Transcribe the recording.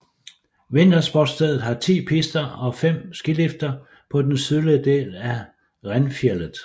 Vintersportsstedet har 10 pister og 5 skilifter på den sydlige del af Renfjället